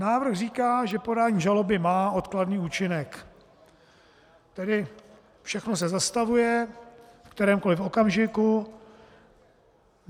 Návrh říká, že podání žaloby má odkladný účinek, tedy všechno se zastavuje ve kterémkoli okamžiku.